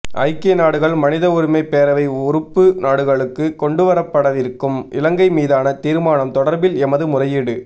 ஐக்கிய நாடுகள் மனித உரிமைப் பேரவை உறுப்பு நாடுகளுக்கு கொண்டுவரப்படவிருக்கும் இலங்கை மீதான தீர்மானம் தொடர்பில் எமது முறையீடு